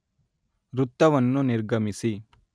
ವೃತ್ತವನ್ನು ನಿರ್ಗಮಿಸಿ